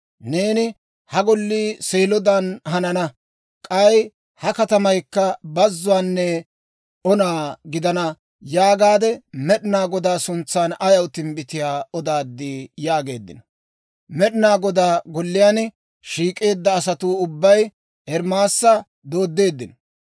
Neeni, ‹Ha Gollii Seelodan hanana; k'ay ha katamaykka bazuwaanne ona gidana› yaagaade, Med'inaa Godaa suntsan ayaw timbbitiyaa odaaddii?» yaageeddino. Med'inaa Godaa Golliyaan shiik'eedda asatuu ubbay Ermaasa dooddeeddino.